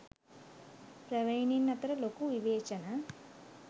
ප්‍රවීනයින් අතර ලොකු විවේචන